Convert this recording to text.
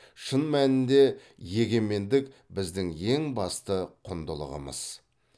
шын мәнінде егемендік біздің ең басты құндылығымыз